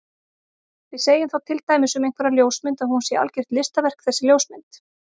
Við segjum þá til dæmis um einhverja ljósmynd að hún sé algjört listaverk þessi ljósmynd.